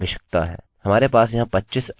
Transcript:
या 100 अक्षरोंकैरेक्टर्स की लंबाई